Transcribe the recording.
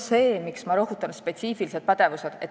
Sellepärast ma rõhutasin spetsiifilisi pädevusi.